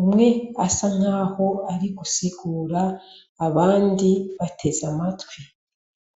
umw' asankah' ari gusigur' abandi batez' amatwi.